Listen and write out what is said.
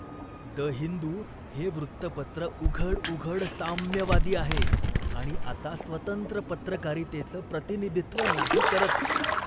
The Hindu हे वृत्तपत्र उघडउघड साम्यवादी आहे आणि आता स्वतंत्र पत्रकारितेचं प्रतिनिधित्व नाही करत.